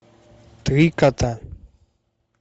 три кота